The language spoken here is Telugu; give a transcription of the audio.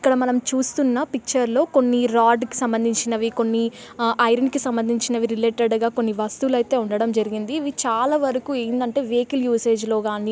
ఇక్కడ మనం చూస్తున్న పిక్చర్ లో కొన్ని రాడ్డు కు సంబంధించినవి కొన్ని ఆ ఐరన్ కి సంబంధించినవి రిలేటెడ్ గా కొన్ని వస్తువులు అయితే ఉండడం జరిగింది ఇవి చాలా వరకు ఏందంటే వెహికిల్ యూసేజ్ లో గాని.